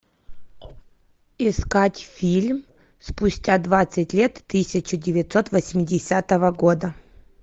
искать фильм спустя двадцать лет тысяча девятьсот восьмидесятого года